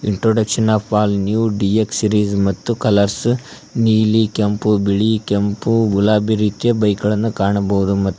introduction of all new ಡಿ_ಎಕ್ಷ series ಮತ್ತು colours ನೀಲಿ ಕೆಂಪು ಬಿಳಿ ಕೆಂಪು ಗುಲಾಬಿ ರೀತಿಯ ಬೈಕ್ ಗಳನ್ನು ಕಾಣಬಹುದು ಮತ್ --